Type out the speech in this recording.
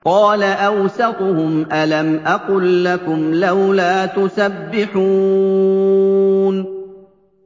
قَالَ أَوْسَطُهُمْ أَلَمْ أَقُل لَّكُمْ لَوْلَا تُسَبِّحُونَ